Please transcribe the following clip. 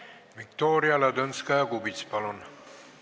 Viktoria Ladõnskaja-Kubits, palun!